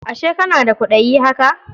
Ashe kana da kwaɗayi haka?